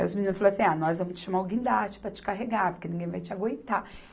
Aí os meninos falavam assim, ah, nós vamos te chamar o guindaste para te carregar, porque ninguém vai te aguentar.